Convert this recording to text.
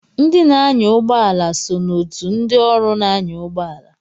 Ndị na-anya ụgbọ ala so na otù ndị ọrụ na-anya ụgbọala.